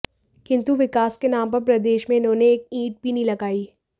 किन्तु विकास के नाम पर प्रदेश में इन्होंने एक ईंट भी नहीं लगायी